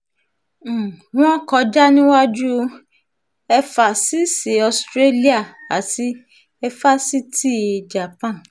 um wọ́n kọjá níwájú éfásisì australia àti éfásitì japan